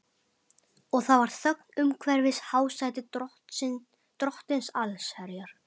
Og það var þögn umhverfis hásæti Drottins allsherjar.